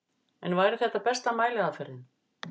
En væri þetta besta mæliaðferðin?